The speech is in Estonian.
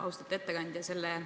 Austatud ettekandja!